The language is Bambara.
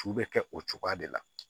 Su bɛ kɛ o cogoya de la